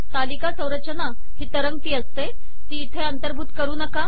तालिका संरचना ही तरंगती असते ती इथे अंतर्भूत करू नका